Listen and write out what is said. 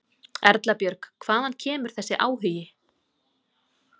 Erla Björg: Hvaðan kemur þessi áhugi?